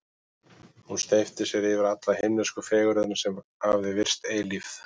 Hún steypti sér yfir alla himnesku fegurðina, sem hafði virst eilíf.